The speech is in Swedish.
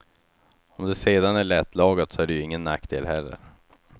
Om det sedan är lättlagat så är det ju ingen nackdel heller.